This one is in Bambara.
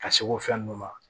Ka se o fɛn ninnu ma